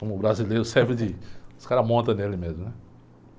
Como o brasileiro serve de... Os caras montam nele mesmo, né?